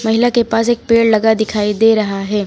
महिला के पास एक पेड़ लगा दिखाई दे रहा है।